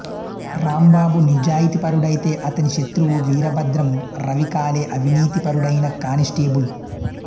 రాంబాబు నిజాయితీపరుడైతే అతని శత్రువు వీరభద్రం రవి కాలె అవినీతిపరుడైన కానిస్టేబుల్